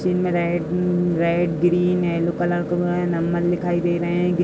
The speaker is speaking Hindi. रेड ग्रीन येलो कलर का बना हैं। नंबर दिखाई दे रहे हैं।